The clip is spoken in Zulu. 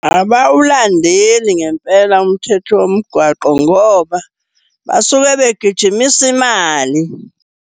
Abawulandeli ngempela umthetho womgwaqo ngoba basuke begijimisa imali.